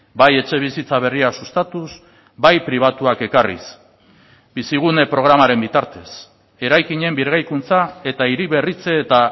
bai etxebizitza berria sustatuz bai pribatuak ekarriz bizigune programaren bitartez eraikinen birgaikuntza eta hiri berritze eta